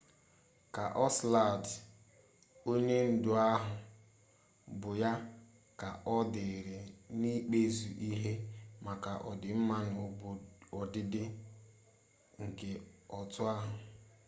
kaosiladị onye ndu ahụ bụ ya ka ọ dịịrị n'ikpeazụ ịhụ maka ọdịmma na ọdịda nke otu ahụ